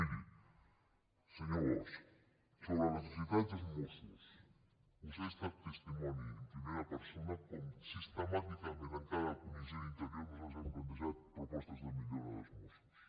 miri senyor bosch sobre les necessitats dels mossos vostè ha estat testimoni i en primera persona de com sistemàticament en cada comissió d’interior nosaltres hem plantejat propostes de millora dels mossos